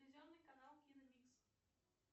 телевизионный канал киномикс